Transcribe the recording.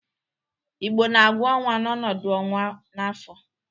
Igbo na-agụ ọnwa n'ọnọdụ ọnwa n'afọ.